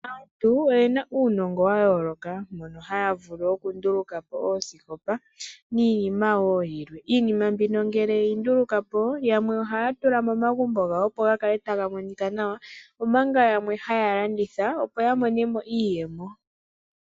Aantu oyena uunongo wa yooloka mono haya vulu oku nduluka oosikopa niinima wo yilwe. Iinima mbino ngele yeyi ndulukapo yamwe ohaya tula momagumbo gawo opo gakale taga monika nawa omanga yamwe haya landitha opo ya monemo iiyemo.